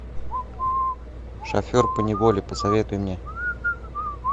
шофер поневоле посоветуй мне